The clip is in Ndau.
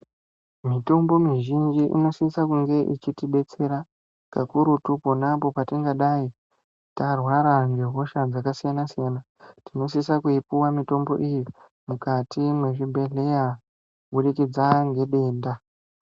Mitombo mizhinji inosisa kunge ichitidetsera kakurutu pona apo petingadai tarwara ngehosha dzakasiyana siyana tinosisa kuipuwa mitombo iyi mukati mezvibhedhlera kubudikidza ngedenda .